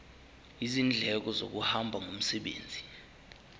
izindleko zokuhamba ngomsebenzi